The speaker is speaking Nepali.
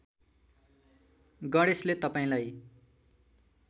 गणेशले तपाईँलाई